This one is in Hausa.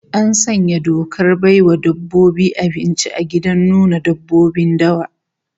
An sanya dokar bai wa dabbobi abinci a gidan nuna dabbobin dawa